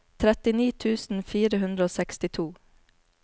trettini tusen fire hundre og sekstito